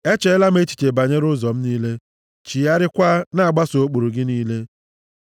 Echeela m echiche banyere ụzọ m niile, chigharịakwa na-agbaso ụkpụrụ gị niile.